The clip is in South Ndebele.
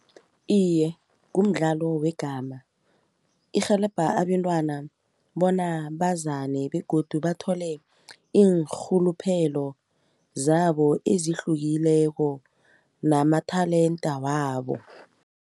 Iye, kumdlalo wegama irhelebha abentwana bona bazane begodu bathole iinrhuluphelo zabo ezihlukileko nama-talent wabo.